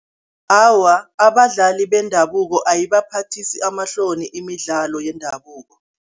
Awa, abadlali bendabuko ayibaphathisi amahloni imidlalo yendabuko.